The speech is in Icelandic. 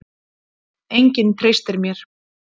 Enginn treystir mér.